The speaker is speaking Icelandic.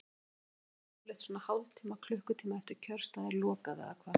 Þórhildur: Það er svona yfirleitt svona hálftíma, klukkutíma eftir að kjörstað er lokað eða hvað?